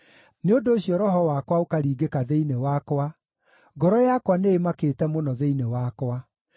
Nĩ ũndũ ũcio roho wakwa ũkaringĩka thĩinĩ wakwa; ngoro yakwa nĩĩmakĩte mũno thĩinĩ wakwa.